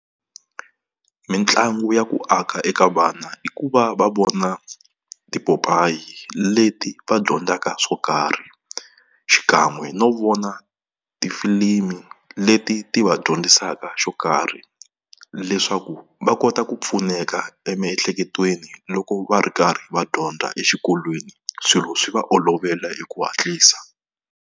Mitlangu ya ku aka eka vana i ku va va vona tipopayi leti va dyondzaka swo karhi xikan'we no vona tifilimi leti ti va dyondzisaka xo karhi, leswaku va kota ku pfuneka emiehleketweni loko va ri karhi va dyondza exikolweni swilo swi va olovela hi ku hatlisa.